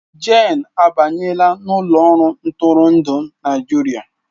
Jane abanyela n'ụlọ ọrụ ntụrụndụ Naịjirịa